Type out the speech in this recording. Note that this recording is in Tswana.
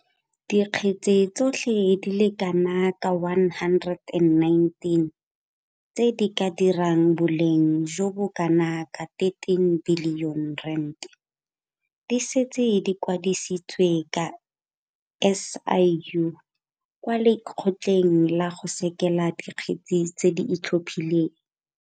Dikgetse tsotlhe di le kana ka 119 tse di ka dirang boleng jo bo kanaka R13 bilione di setse di kwadisitswe ke SIU kwa Lekgotleng la go Sekela Dikgetse tse di Itlhophileng.